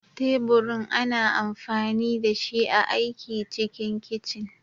Teburin ana amfani dashi a aiki cikin kicin.